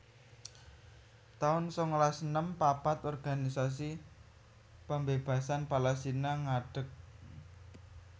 taun sangalas enem papat Organisasi Pembebasan Palestina ngadeg